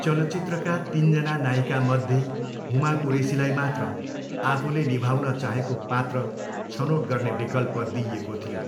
चलचित्रका तिनजना नायिकामध्ये हुमा कुरेसीलाई मात्र आफूले निभाउन चाहेको पात्र छनोट गर्ने विकल्प दिइएको थियो।